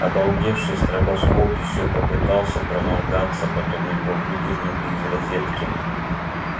обалдевший стробоскоп ещё попытался проморгаться потом его выдернули из розетки